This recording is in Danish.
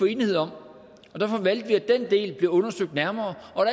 enighed om og derfor valgte vi at den del blev undersøgt nærmere og